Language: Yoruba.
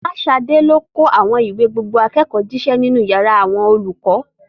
Folashade lọ kó àwọn ìwé gbogbo akẹ́kọ̀ọ́ jíṣẹ́ nínú yàrá àwọn olùkọ́.